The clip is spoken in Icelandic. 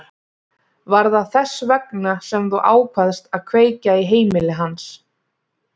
Var það þess vegna sem þú ákvaðst að kveikja í heimili hans?